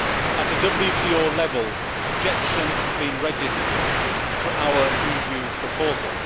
At WTO level, objections have been registered to our EU proposal.